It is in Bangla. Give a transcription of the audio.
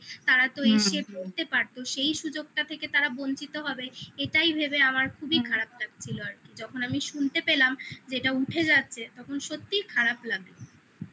তারা তো এসে পড়তে পারতো সেই সুযোগটা থেকে তারা বঞ্চিত হবে ভেবে আমার খুবই খারাপ লাগছিলো আর কি যখন আমি শুনতে পেলাম যে এটা উঠে যাচ্ছে তখন সত্যিই খারাপ লাগে